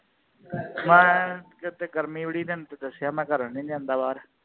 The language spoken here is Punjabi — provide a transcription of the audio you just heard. ਮੈ ਏ ਇਥੇ ਗਰਮੀ ਬੜੀ ਤੈਨੂੰ ਤੇ ਦਸਿਆ ਮੈ ਘਰੋਂ ਈ ਨਹੀਂ ਜਾਂਦਾ ਬਾਹਰ